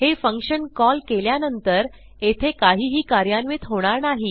हे function call केल्यानंतर येथे काहीही कार्यान्वित होणार नाही